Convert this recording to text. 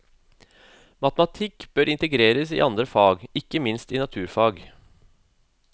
Matematikken bør integreres i andre fag, ikke minst i naturfag.